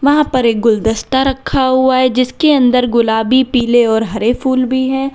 वहां पर एक गुलदस्ता रखा हुआ है जिसके अंदर गुलाबी पीले और हरे फूल भी है।